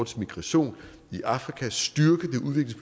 til migration i afrika styrke